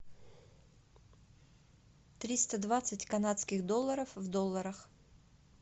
триста двадцать канадских долларов в долларах